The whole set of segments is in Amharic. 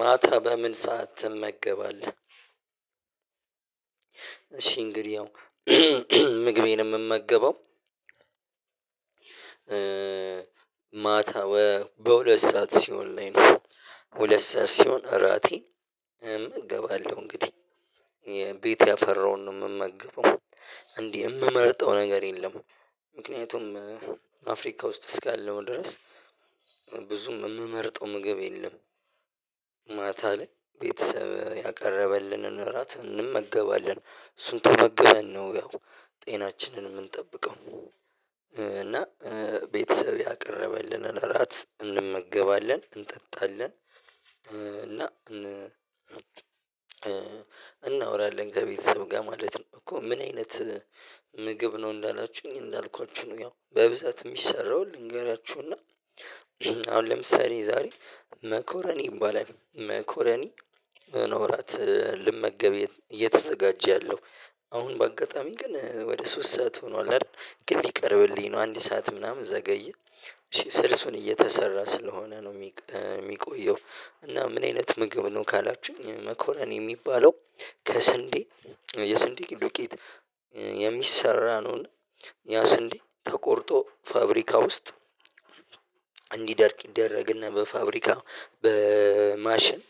ማታ በምን ሰዓት ትመገባለህ? እሺ እንግዲህ ያው ምግቤን የምመገበው ማታ በሁለት ሰዓት ሲሆን ላይ ነው ሁለት ሰዓት ሲሆን እራቴ እመገባለሁ እንግዲህ ቤት ያፈራውን ነው የምመገበው። እንዲህ የምመርጠው ነገር የለም። ምክንያቱም አፍሪካ ውስጥ እስካለው ድረስ ብዙም የምመርጠው ምግብ የለም። ማታ ላይ ቤተሰብ ያቀረበልንን እራት እንመገባለን እሱን ተመገበን ነው ያው ጤናችንን የምንጠብቀው እና ቤተሰብ ያቀረበልንን እራት እንመገባለን እንጠጣለን። እና እናወራለን ከቤተሰብ ጋር ማለት ነው። እኮ ምን አይነት ምግብ ነው? እንዳላችሁኝ እንዳልኳችሁ ያው በብዛት የሚሰራውን ልንገራችሁና አሁን ለምሳሌ ዛሬ መኮረኒ ይባላል። መኮረኒ ኖራት ልመገብ እየተዘጋጀ ያለው። አሁን በአጋጣሚ ግን ወደ ሶስት ሰዓት ሆኗል አይደል? ግን ሊቀርብልኝ ነው አንድ ሰዓት ምናምን ዘገየ ስልሱን እየተሰራ ስለሆነ ነው የሚቆየው። እና ምን አይነት ምግብ ነው ካላችሁ መኮሮኒ የሚባለው። ከስንዴ የስንዴ ዱቄት የሚሰራ ነው። እና እኛ ስንዴ ተቆርጦ ፋብሪካ ውስጥ። እንዲደርቅ ይደረግና በፋብሪካ በማሽን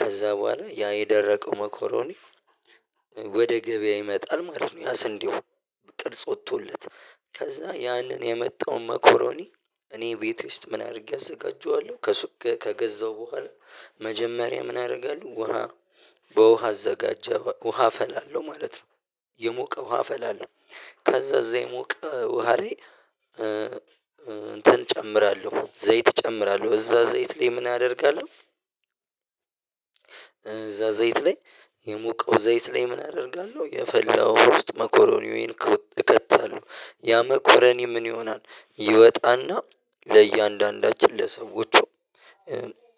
ከዛ በኋላ ያ የደረቀው መኮረኒ ወደ ገበያ ይመጣል ማለት ነው። ያ ስንዴው ጥርጽ ወጥቶለት ከዛ ያንን የመጣው መኮረኒ እኔ ቤት ውስጥ ምን አድርጌ አዘጋጀዋለሁ? ከሱቅ ከገዛው በኋላ መጀመሪያ ምን አደርጋለሁ? ውሃ በውሃ አዘጋጀ ውሃ አፈላለሁ ማለት ነው። የሞቀ ውሃ አፈላለሁ። ካዛ እዛ ዘይሞቅ ውሃ ላይ እንትን እጨምራለሁ ዘይት እጨምራለሁ እዛ ዘይት ላይ ምን አደርጋለሁ? እዛ ዘይት ላይ የሞቀው ዘይት ላይ ምን አደርጋለሁ? የፈላው መኮረኒያዬን እከታለሁ ያ መኮረኒ ምን ይሆናል ይወጣና ለእያንዳንዳችን ለሰዎች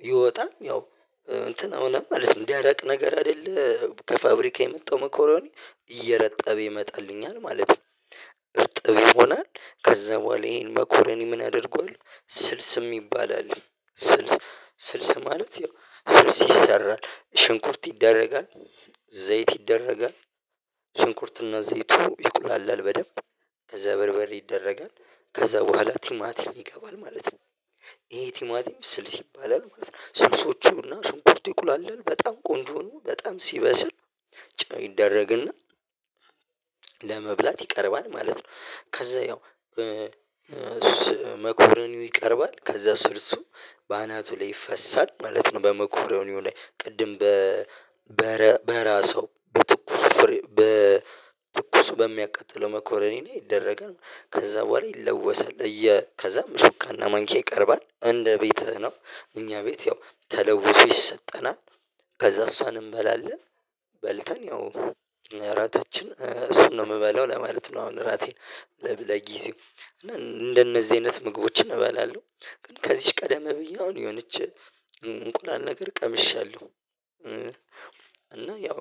ይወጣል ያው እንትን ይሆናል ማለት ነው። እንዲያደቅ ነገር አይደለ ከፋብሪካ የመጣው መኮረኔ እየረጠበ ይመጣልኛል ማለት ነው። እርጥብ ይሆናል። ከዛ በኋላ ይሄን መኮረኒ ምን አድርጓል ስልስ የሚባል አለ። ስልስ ማለት ያው ስልስ ይሰራል ሽንኩርት ይደረጋል። ዘይት ይደረጋል። ሽንኩርትና ዘይቱ ይቁላላል በደንብ። ከዛ በርበሬ ይደረጋል ከዛ በኋላ ቲማቲም ይገባል። ማለት ነው ይሄ ቲማቲም ስልስ ይባላል ማለት ነው። ስልሶቹ እና ስንኮርቲኩል አለን በጣም ቆንጆ ነው። በጣም ሲበስል ጫው ይደረግና ለመብላት ይቀርባል ማለት ነው። ከዛ ያው መኮሮኒው ይቀርባል ከዛ ስልሱ በአናቱ ላይ ይፈሳል ማለት ነው። በመኮሮኒዩ ላይ ቅድም በራሱ በትኩስ በ ትኩስ በሚያቃጥለው መኮረኒ ላይ ይደረገን ከዛ በኋላ ይለወሳል እየ ከዛም ምስካና ማንኪያ ይቀርባል እንደ ቤትህ ነው እኛ ቤት ያው ተለውሶ ይሰጠናል። ከዛ እሷን እንበላለን። በልተን ያው እራታችን እሱን ነው የምበላው ለማለት ነው። አሁን እራቴን ለብለጊዜው እና እንደነዚህ አይነት ምግቦችን እበላለሁ። ግን ከዚች ቀደመ ብዬ አሁን የሆነች እንቁላል ነገር ቀምሻለሁ። እና ያው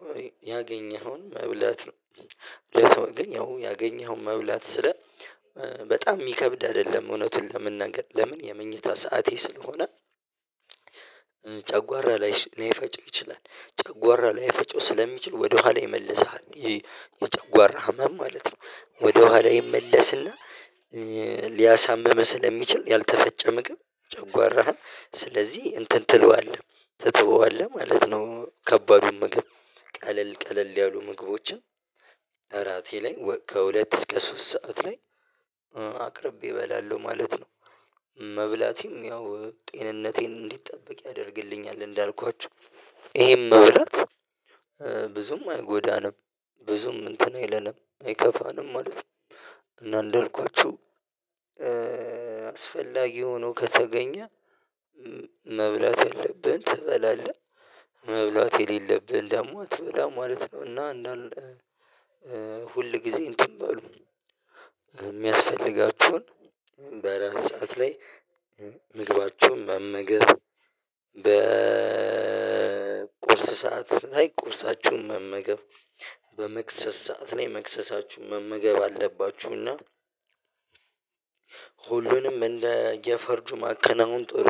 ያገኘኸውን መብላት ነው። ለሰው ግን ያው ያገኘኸውን መብላት ስለ በጣም የሚከብድ አይደለም። እውነቱን ለመናገር ለምን የመኝታ ሰዓቴ ስለሆነ። ጨጓራ ላይ ላይፈጩ ይችላል። ጨጓራ ላይ ፈጨው ስለሚችል ወደኋላ ይመልስሃል ይሄ የጨጓራ ህመም ማለት ነው። ወደኋላ ይመለስና ሊያሳምም ስለሚችል ያልተፈጨ ምግብ ጨጓራህን ስለዚህ እንትን ትለዋለህ። ትተዋለህ ማለት ነው። ከባዱን ምግብ ቀለል ቀለል ያሉ ምግቦችን። እራቴ ላይ ከሁለት እስከ ሶስት ሰዓት ላይ አቅርቤ እበላለሁ ማለት ነው። መብላቴም ያው ጤንነቴን እንዲጠበቅ ያደርግልኛል እንዳልኳችሁ። ይሄም መብላት ብዙም አይጎዳንም። ብዙም እንትን አይለንም አይከፋንም ማለት ነው። እና እንደልኳችሁ አስፈላጊ ሆኖ ከተገኘ መብላት የለብህን ትበላለህ መብላት የሌለብህን ደግሞ አትበላም ማለት ነው። እና እንዳለ ሁል ጊዜ እንትን በሉ የሚያስፈልጋችሁን በእራት ሰዓት ላይ ምግባችሁን መመገብ በቁርስ ሰዓት ላይ ቁርሳችሁን መመገብ በመክሰስ ሰዓት ላይ መክሰሳችሁን መመገብ አለባችሁ። እና ሁሉንም እንደየፈርጁ ማከናወን ጥሩ